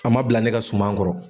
An ma bila ne ka suman kɔrɔ.